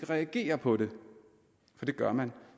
reagere på det for det gør man